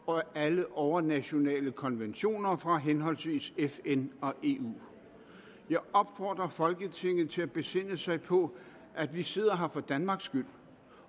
og alle overnationale konventioner fra henholdsvis fn og eu jeg opfordrer folketinget til at besinde sig på at vi sidder her for danmark skyld